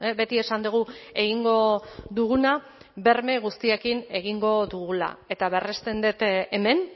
beti esan dugu egingo duguna berme guztiekin egingo dugula eta berresten dut hemen